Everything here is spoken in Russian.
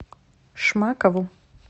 шмакову